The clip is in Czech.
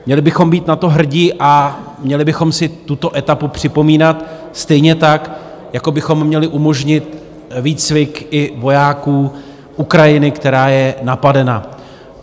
Měli bychom být na to hrdi a měli bychom si tuto etapu připomínat, stejně tak jako bychom měli umožnit výcvik i vojáků Ukrajiny, která je napadena.